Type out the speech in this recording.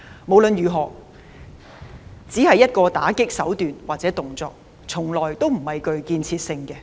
無論如何，它只是一種打擊的手段或動作，從來不具建設性。